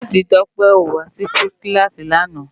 Pirifèti Tope ó wá si kilási làná